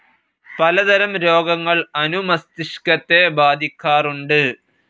പലതരം രോഗങ്ങൾ അനുമസ്തിഷ്കത്തെ ബാധിക്കാറുണ്ട്.